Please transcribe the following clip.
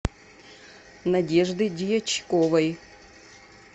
надежды дьячковой